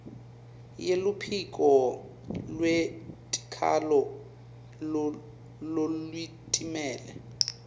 yeluphiko lwetikhalo lolutimele